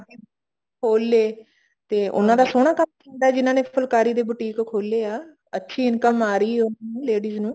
ਖੋਲ ਲਏ ਤੇ ਉਹਨਾ ਦਾ ਸੋਹਣਾ ਕੰਮ ਹੁੰਦਾ ਜਿਹਨਾ ਨੇ ਫੁਲਕਾਰੀ ਤੇ boutique ਖੋਲੇ ਆ ਅੱਛੀ income ਆ ਰਹੀ ਆ ladies ਨੂੰ